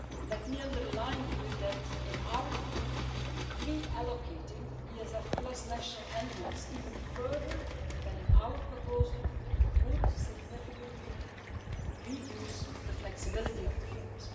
Let me underline here that, in our view, pre allocating ESF national envelopes even further than in our proposal would significantly reduce the flexibility of the fund.